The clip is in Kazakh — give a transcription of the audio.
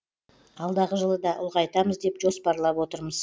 алдағы жылы да ұлғайтамыз деп жоспарлап отырмыз